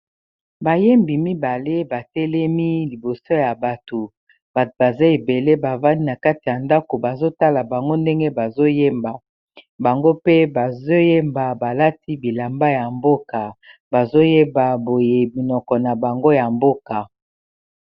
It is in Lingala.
Bayembi mibale batelemi liboso ya bato, bato baza ebele bavandi na kati ya ndako bazotala bango ndenge bazo yemba bango pe bazo yemba balati bilamba ya mboka bazo yemba boye munoko na bango ya mboka.